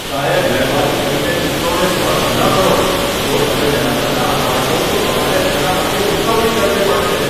સાહેબ, મહેરબાની કરીને ચિત્રોને સ્પર્શ ન કરો! જો તમે તેના પર ડાઘ પાડશો તો તમારે તેના માટે ચૂકવણી કરવી પડશે.